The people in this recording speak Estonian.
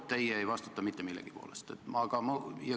Teie ei vastuta mitte millegi eest.